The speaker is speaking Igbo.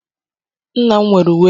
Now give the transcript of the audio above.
Nna m nwere uwe lace.